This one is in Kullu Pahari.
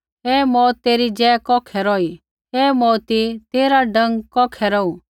हे मौऊत तेरी जय कौखै रौही हे मौऊती तेरा डंक कौखै रौहू